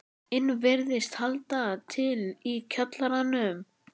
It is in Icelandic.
inn virðist halda til í kjallaranum.